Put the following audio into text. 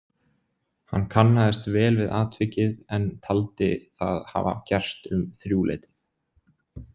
Hann kannaðist vel við atvikið en taldi það hafa gerst um þrjúleytið.